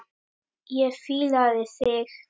Ég fílaði þig.